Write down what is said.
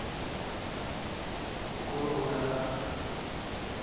di loke ho ya ka